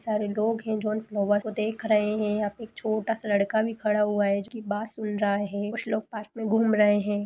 सारे लोग हैं जौन देख रहे हैं। यहाँ पे एक छोटा सा लड़का भी खड़ा हुआ है जो कि बात सुन रहा है। कुछ लोग पार्क में घूम रहे हैं।